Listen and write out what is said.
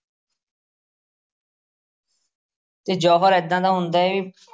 ਤੇ ਜੌਹਰ ਏਦਾਂ ਦਾ ਹੁੰਦਾ ਏ,